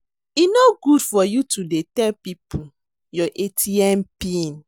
E no good for you to dey tell people your atm pin